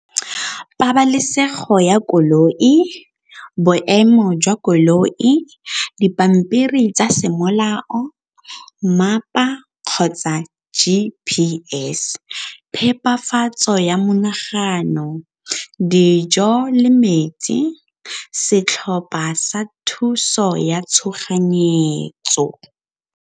Pabalesego ya koloi, boemo jwa koloi, dipampiri tsa semolao kgotsa G_P_S phepafatso ya monagano dijo le metsi, setlhopha sa thuso ya tshoganyetso.